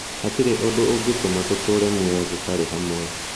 hatirĩ ũndũ ũngĩtũma tũtũũre muoyo tũtarĩ hamwe".